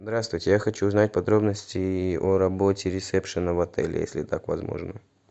здравствуйте я хочу узнать подробности о работе ресепшен в отеле если так возможно